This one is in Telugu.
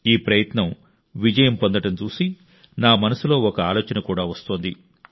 ఈ ప్రయత్నం విజయం పొందడం చూసి నా మనసులో ఒక ఆలోచన కూడా వస్తోంది